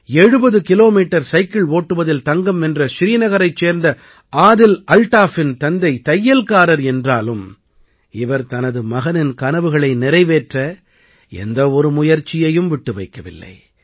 70 kilometre cycle ஓட்டுவதில் தங்கம் வென்ற ஸ்ரீநகரைச் சேர்ந்த ஆதில் அல்தாஃபின் தந்தை தையல்காரர் என்றாலும் இவர் தனது மகனின் கனவுகளை நிறைவேற்ற எந்த ஒரு முயற்சியையும் விட்டு வைக்கவில்லை